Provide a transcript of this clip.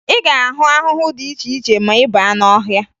Ị ga-ahụ ahụhụ dị iche iche ma ị baa n'ọhịa